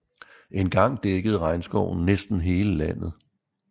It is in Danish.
Engang dækkede regnskoven næsten hele landet